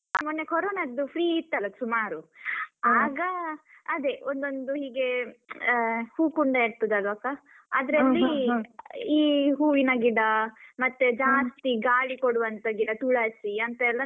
ಮೊನ್ನೆ ಕೊರೊನದ್ದು free ಇತ್ತಲ್ಲ ಸುಮಾರು ಆಗ ಅದೇ ಒಂದೊಂದು ಹೀಗೆ ಅಹ್ ಹೂಕುಂಡ ಇರ್ತದಲ್ವ ಅಕ್ಕ ಅದ್ರಲ್ಲಿ ಈ ಹೂವಿನ ಗಿಡ ಮತ್ತೆ ಜಾಸ್ತಿ ಗಾಳಿ ಕೊಡುವಂತ ಗಿಡ ತುಳಸಿ ಅಂತೆಲ್ಲ